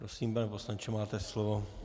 Prosím, pane poslanče, máte slovo.